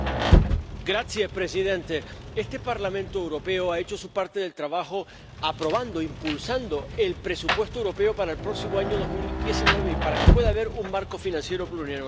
Señor presidente, este Parlamento Europeo ha hecho su parte del trabajo aprobando e impulsando el presupuesto europeo para el próximo año 2019 y para que pueda haber un marco financiero plurianual.